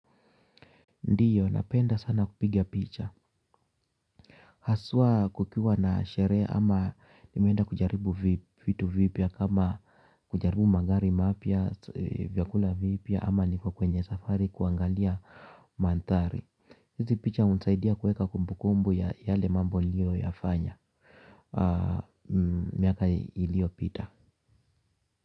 Ndio, napenda sana kupiga picha. Haswa kukiwa na sherehe ama nimeenda kujaribu vitu vipya kama kujaribu magari mapya, vyakula vipya ama niko kwenye safari kuangalia manthari. Hizi picha hunisaidia kuweka kumbukumbu ya yale mambo niliyoyafanya. Miaka iliyopita.